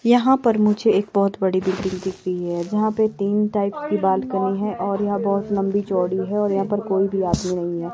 यहां पर मुझे एक बहुत बड़ी बिल्डिंग दिख रही है जहां पर तीन टाइप्स की बालकनी है और यहां बहुत लंबी चौड़ी है और यहां पर कोई भी आदमी नहीं है।